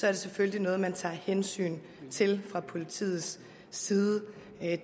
er det selvfølgelig noget man tager hensyn til fra politiets side